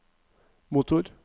motor